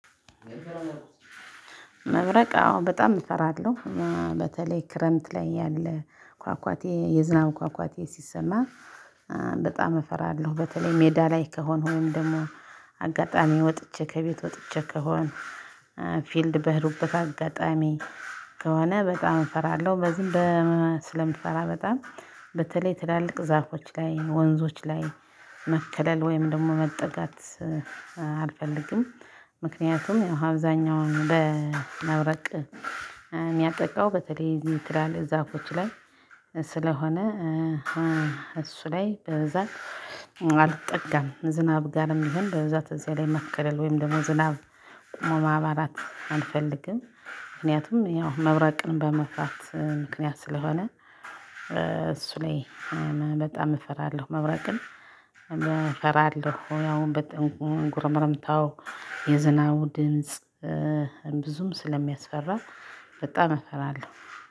መብረቅ አዎ በጣም እፈራለሁ። በተለይ ክረምት ላይ ያለ ኳኳቴ የዝናብ ኳኳቴ ሲሰማ በጣም እፈራለሁ በተለይ ሜዳ ላይ ከሆነ ወይም ደግሞ አጋጣሚ ወጥቼ ከቤት ወጥቼ ከሆነ ፊልድ በሄድኩበት አጋጣሚ ከሆነ በጣም እፈራለሁ በዝም ሆነ ስለምትፈራ በጣም በተለይ ትላልቅ ዛፎች ላይ ወንዞች ላይ መከለል ወይም ደግሞ መጠጋት አልፈልግም። ምክንያቱም አብዛኛውን ለመብረቅ የሚያጠቃው በተለይ እዚህ የምትላል ዛፎች ላይ ስለሆነ እሱ ላይ በዛ አልጠጋም። ዝናብ ጋርም ይሄን በዛ በዚህ ላይ መከለል ወይም ደግሞ ዝናብ ቆሞ ማባላት አልፈልግም። ምክንያቱም ያው መብራቅን በመፍራት ምክንያት ስለሆነ እሱ ላይ በጣም እፈራለሁ። መብራቅን እፈራለሁ ያው በጣም ጉርምርምታው የዝናው ድምጽ ብዙም ስለሚያስፈራ በጣም እፈራለሁ።